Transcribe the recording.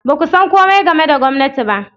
Ba ku san komai game da gwamnati ba.